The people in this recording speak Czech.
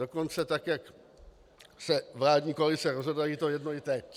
Dokonce tak jak se vládní koalice rozhodla, je jí to jedno i teď.